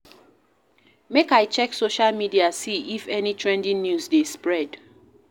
Make I check social media see if any trending news dey spread.